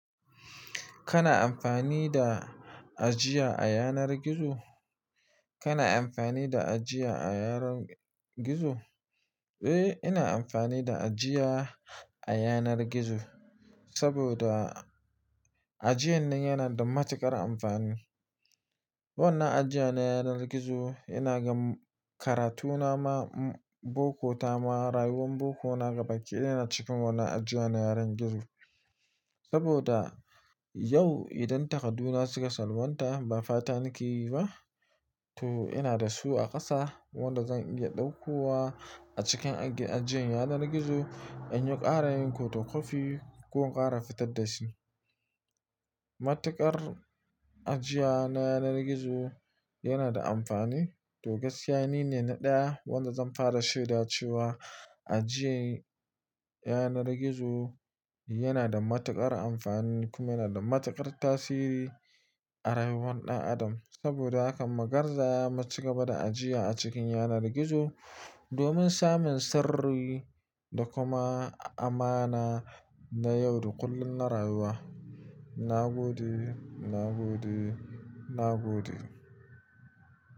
Kana amfani da ajiya a yanar gizo? Kana amfani da ajiya a yanar gizo? Eh, ina amfani da ajiya a yanar gizo saboda ajiyan nan yana da matuƙar amfani. Wannan ajiya na yanar gizo, ina gan karatu na ma, boko ta ma, rauwar boko na gabakidaya na nan a cikin ajiya na yanar gizo saboda yau idan takadu na suka salwanta ba fata nake yi ba. To ina da su a ƙasa wanda zan iya ɗauko wa a cikin ajiyan yanar gizo in yi ƙara yin photokwafi ko in ƙara fitar da shi. Matuƙar ajiya na yanar gizo yana da amfani. To gaskiya ni ne na ɗaya wanda zan fara shaidacewa ajiye yanar gizo yana da matuƙar amfani kuma yana da matuƙar tasiri a rayuwan ɗan adam. Saboda haka mu garza mu cigaba da ajiya a cikin yanar gizo domin samun sirri da kuma amana na yau da kullum na rayuwa. Na gode, na gode, na gode.